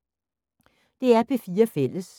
DR P4 Fælles